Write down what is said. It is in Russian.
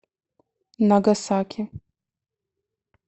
нагасаки